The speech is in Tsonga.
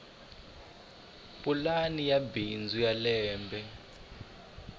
pulani ya bindzu ya lembe